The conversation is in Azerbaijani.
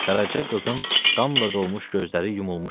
Qaraça qızın qanla dolmuş gözləri yumulmuşdu.